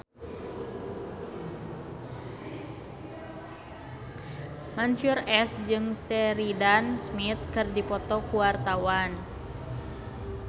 Mansyur S jeung Sheridan Smith keur dipoto ku wartawan